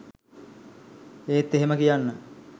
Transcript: ඒත් එහෙම කියන්න